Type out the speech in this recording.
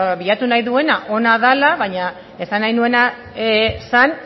bilatu nahi duena ona dela baina esan nahi nuena zen